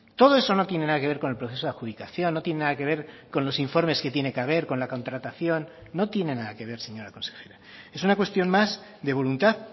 todo eso no tiene nada que ver con el proceso de adjudicación no tiene nada que ver con los informes que tiene que haber con la contratación no tiene nada que ver señora consejera es una cuestión más de voluntad